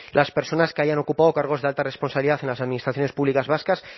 las personas que hayan ocupado cargos de alta responsabilidad en las administraciones públicas vascas